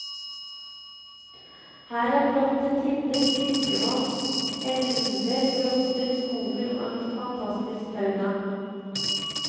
Her er bratte tinder, fiskevatn, elver, grotter skoger og en fantastisk fauna.